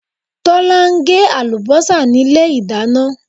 Tọ̀lá n gé àlùbósà nílé ìdáná